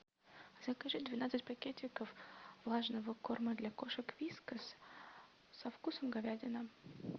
закажи двенадцать пакетиков влажного корма для кошек вискас со вкусом говядины